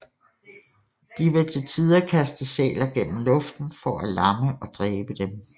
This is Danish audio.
De vil til tider kaste sæler gennem luften for at lamme og dræbe dem